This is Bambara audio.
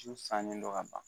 Du sannen don ka ban.